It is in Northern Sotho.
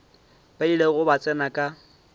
ba ilego ba tsena ka